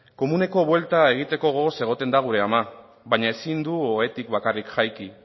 komuneko buelta egiteko gogoz egoten da gure ama baina ezin du ohetik bakarrik jaiki